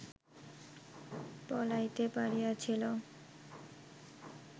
পলাইতে পারিয়াছিল